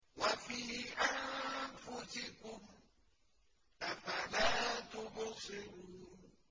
وَفِي أَنفُسِكُمْ ۚ أَفَلَا تُبْصِرُونَ